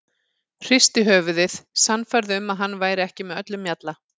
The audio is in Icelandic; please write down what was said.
Hristi höfuðið, sannfærð um að hann væri ekki með öllum mjalla.